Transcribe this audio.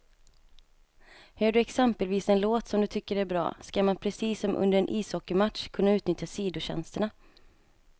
Hör du exempelvis en låt som du tycker är bra, ska man precis som under en ishockeymatch kunna utnyttja sidotjänsterna.